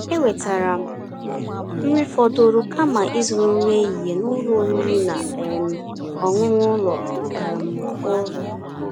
èwètáara m nrí fọ̀dụ̀rụ̀ kàma ízụ̀rụ̀ nrí èhihie n'ụ́lọ̀ ọ̀rị́rị́ ná um ọ̀ṅụ̀ṅụ̀ ụ́lọ̀ um ọ́rụ̀.